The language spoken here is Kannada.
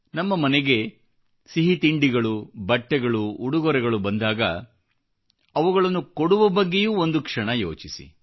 ನಮ್ಮ ಮನೆಗೆ ಸಿಹಿತಿಂಡಿಗಳು ಬಟ್ಟೆಗಳು ಉಡುಗೊರೆಗಳು ಬಂದಾಗ ಅವುಗಳನ್ನು ಕೊಡುವ ಬಗ್ಗೆಯೂ ಒಂದು ಕ್ಷಣ ಯೋಚಿಸಿ